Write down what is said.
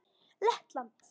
Lettland